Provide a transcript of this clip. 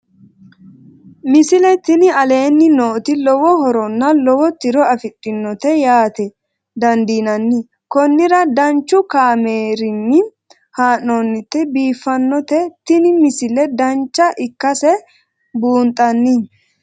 misile tini aleenni nooti lowo horonna lowo tiro afidhinote yaa dandiinanni konnira danchu kaameerinni haa'noonnite biiffannote tini misile dancha ikkase buunxanni